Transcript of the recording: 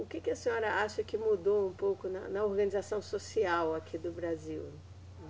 O que que a senhora acha que mudou um pouco na, na organização social aqui do Brasil?